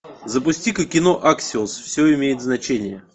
запусти ка кино аксиус все имеет значение